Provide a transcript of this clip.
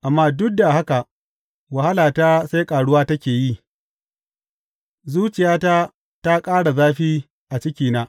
Amma duk da haka wahalata sai ƙaruwa take yi; zuciyata ta ƙara zafi a cikina.